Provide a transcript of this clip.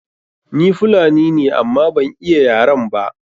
Ni Fulani ne amma ban iya yaren ba.